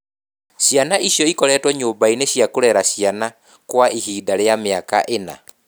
Ciana icio ikoretwo nyũmba-inĩ cia kũrera ciana kwa ihinda rĩa mĩaka ĩna.